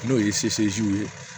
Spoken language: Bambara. N'o ye ye